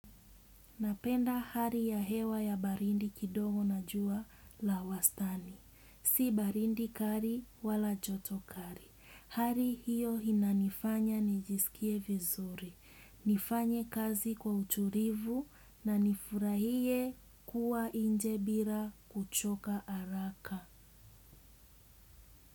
Napenda hari ya hewa ya barindi kidongo na jua la wastani. Si barindi kari wala joto kari. Hari hiyo hinanifanya nijisikie vizuri. Nifanye kazi kwa uturivu, na nifurahie kuwa inje bira kuchoka araka.